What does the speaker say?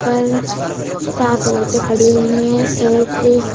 पर सात औरतें खड़ी हुई है एक--